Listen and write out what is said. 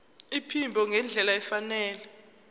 iphimbo ngendlela efanele